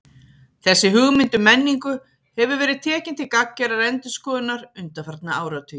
Þessi hugmynd um menningu hefur verið tekin til gagngerrar endurskoðunar undanfarna áratugi.